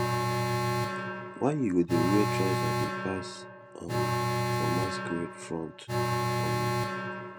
why you go dey wear trouser dey pass um for masquerade front um